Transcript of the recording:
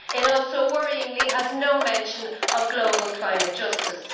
It also worryingly has no mention of global climate justice.